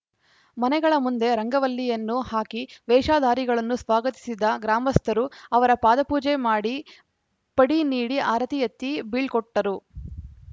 ಮನೆಗಳ ಮುಂದೆ ರಂಗವಲ್ಲಿಯನ್ನು ಹಾಕಿ ವೇಷಧಾರಿಗಳನ್ನು ಸ್ವಾಗತಿಸಿದ ಗ್ರಾಮಸ್ಥರು ಅವರ ಪಾದಪೂಜೆ ಮಾಡಿ ಪಡಿ ನೀಡಿ ಆರತಿ ಎತ್ತಿ ಬೀಳ್ಕೊಟ್ಟರು